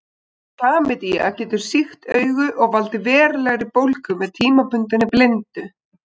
Klamydía getur sýkt augu og valdið verulegri bólgu með tímabundinni blindu.